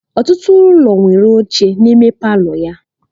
Ọtụtụ ụlọ nwere oche n'ime palọ ya.